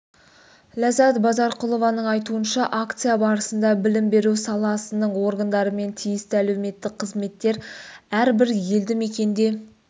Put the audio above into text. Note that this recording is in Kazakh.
ләззат базарқұлованың айтуынша акция барысында білім беру саласының органдары мен тиісті әлеуметтік қызметтер әрбір елді мекенде